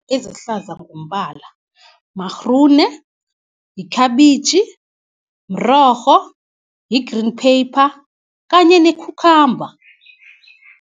Ezihlaza ngombala magrune, yikhabitjhi, mrorho, yi-green pepper kanye nekhukhamba.